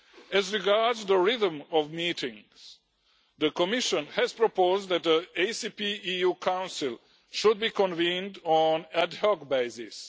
As regards the rhythm of meetings, the Commission has proposed that the ACP EU Council should be convened on an ad hoc basis.